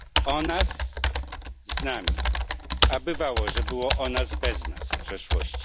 O nas z nami, a bywało, że było o nas bez nas w przeszłości.